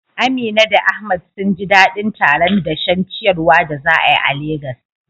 Amina da Ahmad sun ji dadin taron dashen ciyawar da za a yi a Legas.